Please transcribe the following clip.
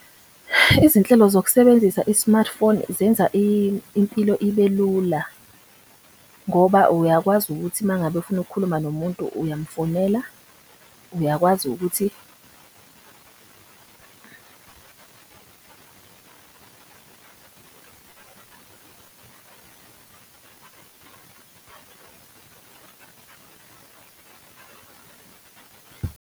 Izinhlelo zokusebenzisa i-smartphone zenza impilo ibe lula ngoba uyakwazi ukuthi mangabe ufuna ukukhuluma nomuntu uyamfonela. Uyakwazi ukuthi .